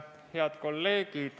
Head kolleegid!